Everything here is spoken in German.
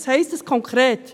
Was heisst das konkret?